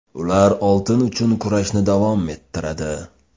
Ular oltin uchun kurashni davom ettiradi.